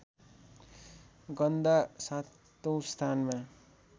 गन्दा सातौँ स्थानमा